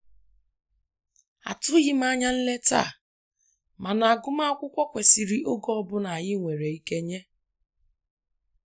Atụghim anya nleta a, mana agụmakwukwọ kwesiri oge ọbụla anyi nwere ike nye